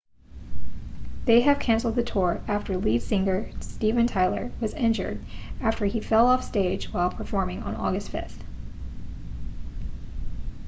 they have cancelled the tour after lead singer steven tyler was injured after he fell off stage while performing on august 5